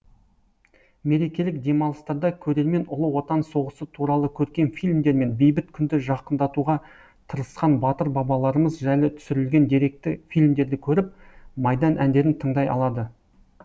мерекелік демалыстарда көрермен ұлы отан соғысы туралы көркем фильмдер мен бейбіт күнді жақындатуға тырысқан батыр бабаларымыз жайлы түсірілген деректі фильмдерді көріп майдан әндерін тыңдай алады